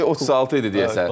E36 idi deyəsən.